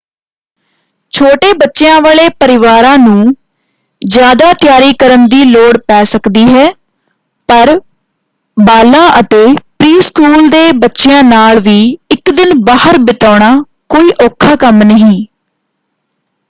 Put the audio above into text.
ਛੋਟੇ ਬੱਚਿਆਂ ਵਾਲੇ ਪਰਿਵਾਰਾਂ ਨੂੰ ਜ਼ਿਆਦਾ ਤਿਆਰੀ ਕਰਨ ਦੀ ਲੋੜ ਪੈ ਸਕਦੀ ਹੈ ਪਰ ਬਾਲਾਂ ਅਤੇ ਪ੍ਰੀ-ਸਕੂਲ ਦੇ ਬੱਚਿਆਂ ਨਾਲ ਵੀ ਇੱਕ ਦਿਨ ਬਾਹਰ ਬਿਤਾਉਣਾ ਕੋਈ ਔਖਾ ਕੰਮ ਨਹੀਂ।